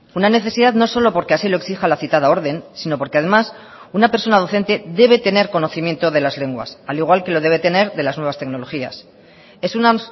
una necesidad no solo porque así lo exija la citada orden sino porque además una persona docente debe tener conocimiento de las lenguas al igual que lo debe tener de las nuevas tecnologías es una